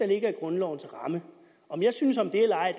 ligger i grundlovens ramme om jeg synes om det eller ej